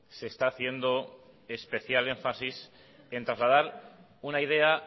se está haciendo especial énfasis en trasladar una idea